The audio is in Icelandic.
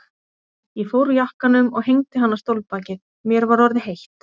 Ég fór úr jakkanum og hengdi hann á stólbakið, mér var orðið heitt.